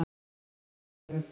Seljavöllum